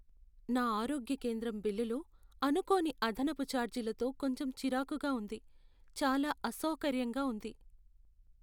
నా ఆరోగ్య కేంద్రం బిల్లులో అనుకోని అదనపు ఛార్జీలతో కొంచెం చిరాకుగా ఉంది, చాలా అసౌకర్యంగా ఉంది.